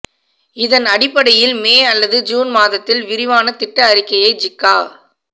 இதன் அடிப்படையில் மே அல்லது ஜூன் மாதத்தில் விரிவான திட்ட அறிக்கையை ஜிக்கா